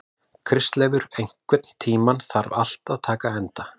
Kristleifur, einhvern tímann þarf allt að taka enda.